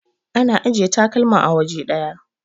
ana ajiya takalman a waje daya